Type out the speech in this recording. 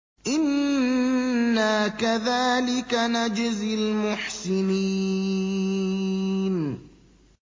إِنَّا كَذَٰلِكَ نَجْزِي الْمُحْسِنِينَ